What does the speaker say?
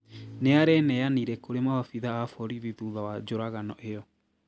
Nĩareneyanire kũrĩ maabĩthaa a borithi thutha wa njũragano ĩyo